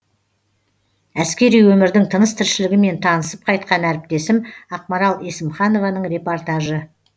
әскери өмірдің тыныс тіршілігімен танысып қайткан әріптесім ақмарал есімханованың репортажы